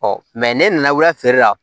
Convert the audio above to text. ne nana wula feere la